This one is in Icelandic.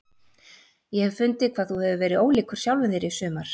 Ég hef fundið hvað þú hefur verið ólíkur sjálfum þér í sumar.